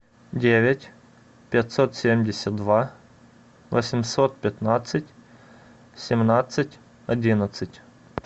девять пятьсот семьдесят два восемьсот пятнадцать семнадцать одиннадцать